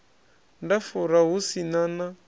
nda fura hu si na